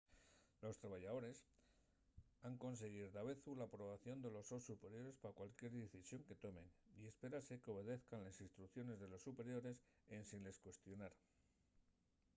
los trabayadores han consiguir davezu l’aprobación de los sos superiores pa cualquier decisión que tomen y espérase qu’obedezan les instrucciones de los superiores ensin les cuestionar